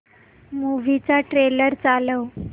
movie चा trailer चालव